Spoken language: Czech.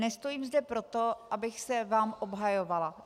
Nestojím zde proto, abych se vám obhajovala.